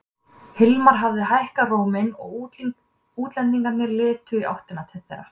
Hilmar hafði hækkað róminn og útlendingarnir litu í áttina til þeirra.